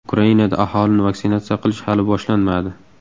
Ukrainada aholini vaksinatsiya qilish hali boshlanmadi.